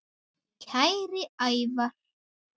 Kæri Ævar.